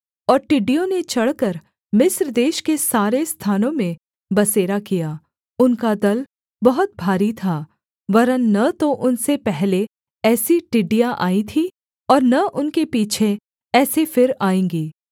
और टिडि्डयों ने चढ़कर मिस्र देश के सारे स्थानों में बसेरा किया उनका दल बहुत भारी था वरन् न तो उनसे पहले ऐसी टिड्डियाँ आई थीं और न उनके पीछे ऐसी फिर आएँगी